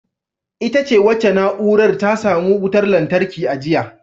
Ita ce wacce na’urar ta samu wutar lantarki a jiya.